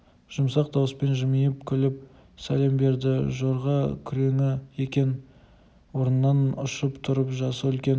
жұмсақ дауыспен жымиып күліп сәлем берді жорға күреңі екен орнынан ұшып тұрып жасы үлкен